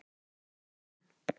Já, eitthvað gerði hún það.